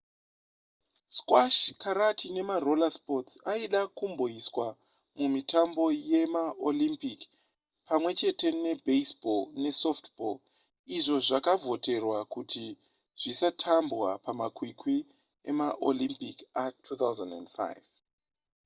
squash karate nemaroller sports aida kumboiswa mumitambo yemaolympic pamwe chete nebaseball nesoftball izvo zvakavhoterwa kuti zvisatambwa pamakwikwi emaolympic a2005